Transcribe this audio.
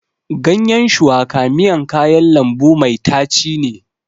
Ganyen shuwaka miyan kayan lambu mai tachi ne.